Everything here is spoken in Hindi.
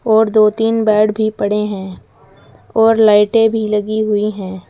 और दो तीन बेड भी पड़े हैं और लाइटें भी लगी हुई हैं।